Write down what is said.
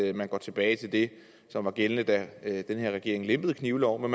at man går tilbage til det som var gældende da den her regering lempede knivloven